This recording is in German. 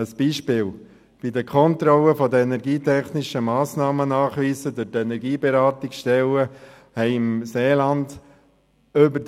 Ein Beispiel: Bei der Kontrolle der energietechnischen Massnahmennachweise durch die Energieberatungsstellen wurden im Seeland über